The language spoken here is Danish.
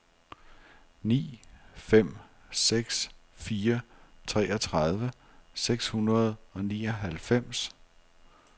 ni fem seks fire treogtredive seks hundrede og nioghalvfems